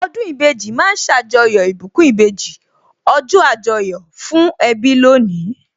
Ọdún ìbejì ma ń ṣàjọyọ̀ ìbùkún ìbejì, ọjọ́ Àjọyọ̀ fún ẹbí lónìí